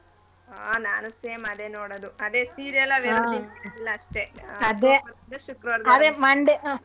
ಹಾ ನಾನು same ಅದೇ ನೋಡೋದು ಅದೇ serial ಅದೇ Monday.